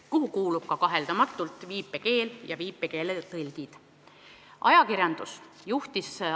Sinna alla kuuluvad kaheldamatult ka viipekeel ja viipekeeletõlgid.